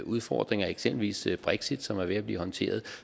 udfordringer eksempelvis brexit som er ved at blive håndteret